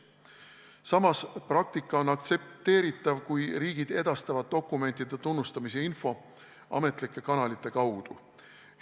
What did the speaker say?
Samas, praktika on aktsepteeritav, kui riigid edastavad dokumentide tunnustamise info ametlike kanalite kaudu.